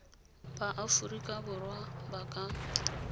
ba aforika borwa ba ka